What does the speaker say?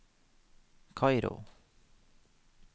Kairo